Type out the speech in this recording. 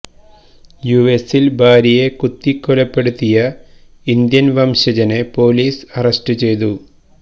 U എസില് ഭാര്യയെ കുത്തികൊലപ്പെടുത്തിയ ഇന്ത്യന് വംശജനെ പോലീസ് അറസ്റ്റു ചെയ്തു